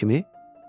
Kimi kimi?